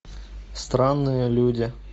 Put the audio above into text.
странные люди